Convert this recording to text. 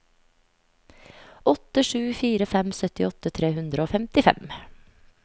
åtte sju fire fem syttiåtte tre hundre og femtifem